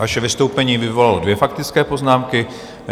Vaše vystoupení vyvolalo dvě faktické poznámky.